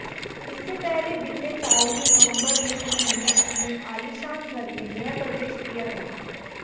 इससे पहले बीते साल ही नवंबर में उन्होंने अपने आलीशान घर में गृहप्रवेश किया था